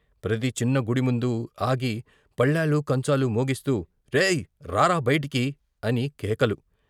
ప్రతి చిన్న గుడిముందు ఆగి పళ్ళాలు, కంచాలు మోగిస్తూ "రేయ్ రారా బయటికి" అని కేకలు.